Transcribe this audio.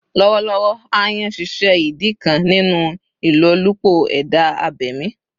Lọwọlọwọ, "aayan" ṣiṣẹ idi kan ninu ilolupo eda abemi.